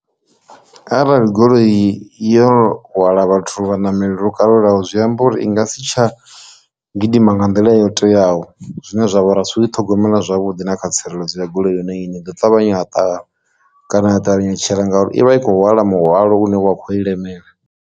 Arali goloi yo hwala vhathu vha ṋameli lwo kalulaho zwi amba uri i nga si tsha gidima nga nḓila yo teaho zwine zwavha uri a si u i ṱhogomela zwavhuḓi na kha tsireledzo ya goloi yone ine i ḓo ṱavhanya ya ṱahala kana a ṱavhanya u tshila, ngauri ivha i kho hwala mihwalo une wa kho i lemela.